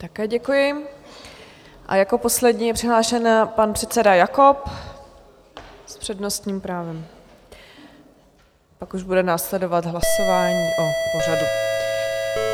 Také děkuji a jako poslední je přihlášen pan předseda Jakob s přednostním právem, pak už bude následovat hlasování o pořadu.